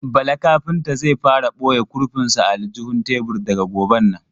Bala kafinta zai fara ɓoye kurfin sa a aljihun tebur daga goben nan.